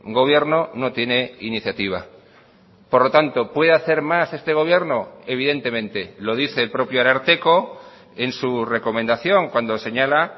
gobierno no tiene iniciativa por lo tanto puede hacer más este gobierno evidentemente lo dice el propio ararteko en su recomendación cuando señala